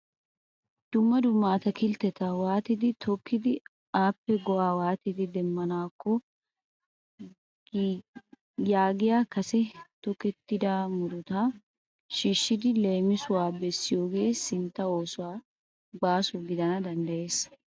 Dumma dumma araakiltteta waatidi tookkidi appe go'aa waatidi demmanaakko giyagaa kase tokettida murutaa shiishshidi leemisuwa bessiyogee sintta oosuwssi baaso gidana danddayees.